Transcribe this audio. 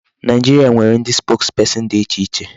Nigeria nwere ndị spokesperson dị iche iche.